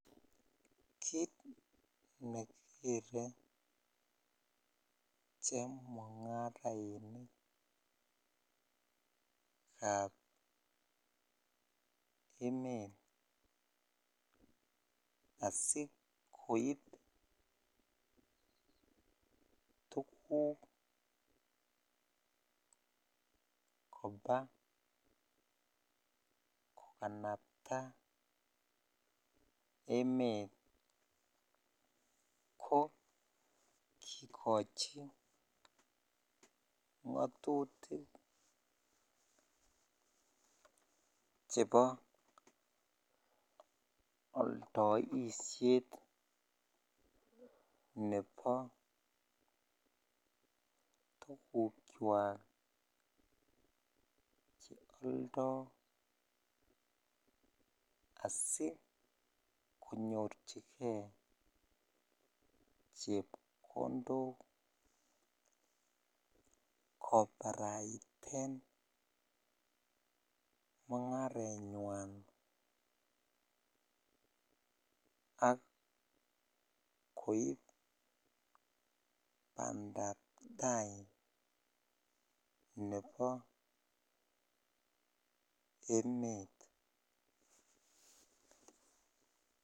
Kiit nekikere chemungarainikab emet asikoib tukuk kobaa kokanabta emet ko kikochi ngotutik chebo oldoishet nebo tukukwak che oldo asi konyorchike chepkondok kobaraiten mungarenywan ak koib bandab taai nebo emet.